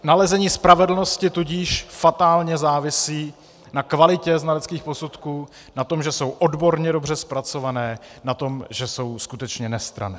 Nalezení spravedlnosti tudíž fatálně závisí na kvalitě znaleckých posudků, na tom, že jsou odborně dobře zpracované, na tom, že jsou skutečně nestranné.